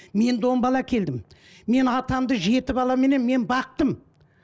мен де он бала әкелдім мен атамды жеті баламенен мен бақтым